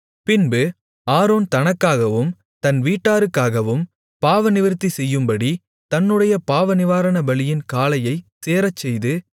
பின்பு ஆரோன் தனக்காகவும் தன் வீட்டாருக்காகவும் பாவநிவிர்த்தி செய்யும்படி தன்னுடைய பாவநிவாரணபலியின் காளையைச் சேரச்செய்து